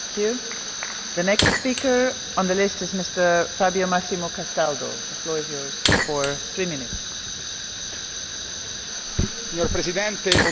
Signora Presidente, onorevoli colleghi noi del Movimento 5 stelle non siamo qui per sostenere ciecamente una fazione o per appiccicare sul nostro petto un'etichetta per interesse.